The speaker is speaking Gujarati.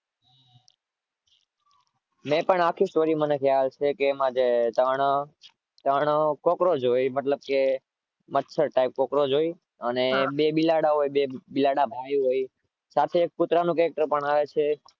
મેં પણ આખી story મને ખ્યાલ છે એમાં જે ત્રણ cockroach હો મચ્છર type cockroach હોય અને બે બિલાડા ભાઈ હોય સાથે એક કુતરાનું કઇંક પણ આવે છે.